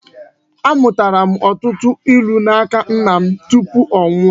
Amụtara m ọtụtụ ilu n'aka nna m tupu ọ nwụọ